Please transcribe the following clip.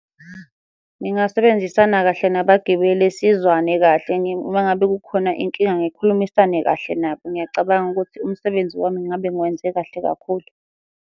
Ngingasebenzisana kahle nabagibeli sizwane kahle uma ngabe kukhona inkinga ngikhulumisane kahle nabo, ngiyacabanga ukuthi umsebenzi wami ngabe ngiwenze kahle kakhulu.